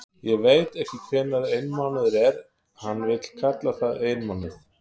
Ég veit ekki hvenær einmánuður er, hann vill kalla það einmánuð.